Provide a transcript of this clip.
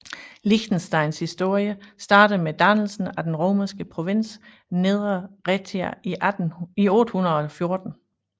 Liechtensteins historie starter med dannelsen af den romerske provins Nedre Raetia i 814